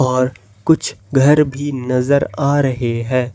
और कुछ घर भी नजर आ रहे हैं।